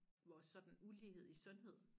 Vores sådan ulighed i sundhed